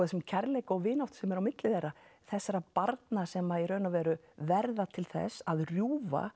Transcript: þessum kærleika og vináttur sem er á milli þeirra þessara barna sem að í raun og veru verða til þess að rjúfa